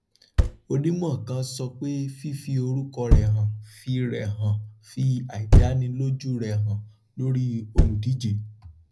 onímọ kan sọ pé fífi orúkọ rẹ hàn fi rẹ hàn fi àìdánilójú rẹ hàn lórí olùdíje